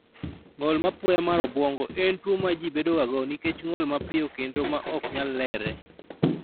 Ng'ol ma apoya mar obwongo en tuwo ma ji bedogago nikech ng'ol mapiyo kendo ma ok nyal lerre.